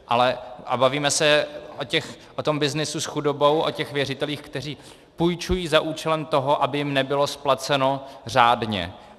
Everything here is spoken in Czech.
A bavíme se o tom byznysu s chudobou, o těch věřitelích, kteří půjčují za účelem toho, aby jim nebylo splaceno řádně.